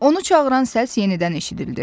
Onu çağıran səs yenidən eşidildi.